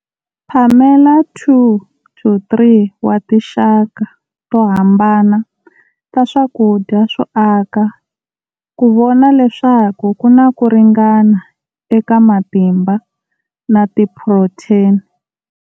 Phamela 2-3 wa tinxaka to hambana ta swakudya swo aka ku vona leswaku ku na ku ringana eka matimba na tiphurotheni.